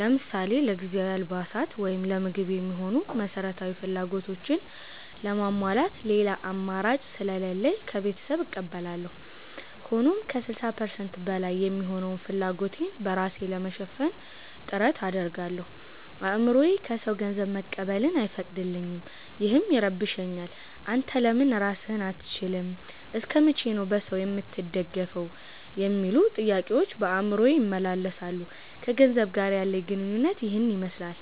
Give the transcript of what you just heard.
ለምሳሌ ለጊዜያዊ አልባሳት ወይም ለምግብ የሚሆኑ መሠረታዊ ፍላጎቶችን ለማሟላት ሌላ አማራጭ ስለሌለኝ ከቤተሰብ እቀበላለሁ። ሆኖም ከ60% በላይ የሚሆነውን ፍላጎቴን በራሴ ለመሸፈን ጥረት አደርጋለሁ። አእምሮዬ ከሰው ገንዘብ መቀበልን አይፈቅድልኝም፤ ይህም ይረብሸኛል። 'አንተ ለምን ራስህን አትችልም? እስከ መቼ ነው በሰው የምትደገፈው?' የሚሉ ጥያቄዎች በአእምሮዬ ይመላለሳሉ። ከገንዘብ ጋር ያለኝ ግንኙነት ይህንን ይመስላል።